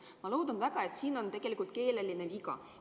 Ma loodan väga, et siin on tegelikult keeleline viga.